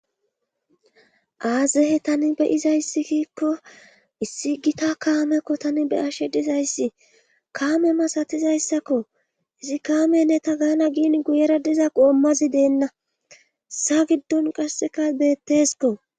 aaze tani beyizayssi giikko issi gita kaamekko tani beyashe dizayssi kaame masatizayssakko izi kaamenne ta gaana giin guyera diza qoommazi deenna sa giddon qasseka beetteskko